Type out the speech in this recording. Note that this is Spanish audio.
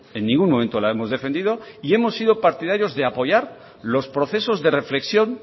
en ningún momento la hemos defendido y hemos sido partidarios de apoyar los procesos de reflexión